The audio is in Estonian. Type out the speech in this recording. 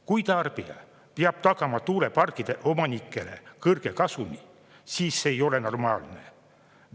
Kui tarbija peab tagama tuuleparkide omanikele kõrge kasumi, siis see ei ole normaalne.